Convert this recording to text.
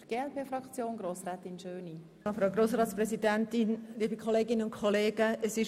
Diese Motion wurde von mir eingereicht.